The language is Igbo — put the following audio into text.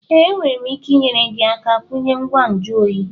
Ee, enwere m ike inyere gị aka kwunye ngwa nju oyi